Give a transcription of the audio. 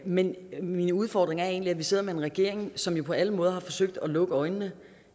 men min udfordring er egentlig at vi sidder med en regering som jo på alle måder har forsøgt at lukke øjnene